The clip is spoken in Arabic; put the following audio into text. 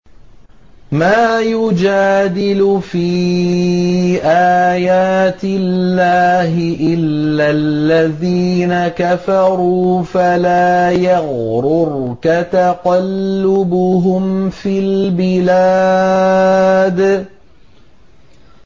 مَا يُجَادِلُ فِي آيَاتِ اللَّهِ إِلَّا الَّذِينَ كَفَرُوا فَلَا يَغْرُرْكَ تَقَلُّبُهُمْ فِي الْبِلَادِ